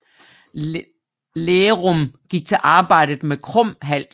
Lærum gik til arbejdet med krum hals